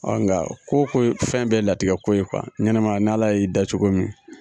nga ko ko fɛn bɛɛ latigɛko ye ɲɛnɛmaya n'Ala y'i dan cogo min,